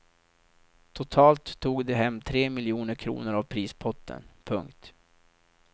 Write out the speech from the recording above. Totalt tog de hem tre miljoner kronor av prispotten. punkt